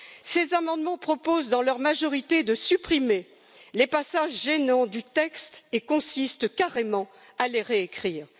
Ces amendements proposent, dans leur majorité, de supprimer les passages gênants du texte et consistent carrément à les réécrire.